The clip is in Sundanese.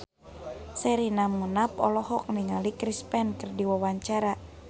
Sherina Munaf olohok ningali Chris Pane keur diwawancara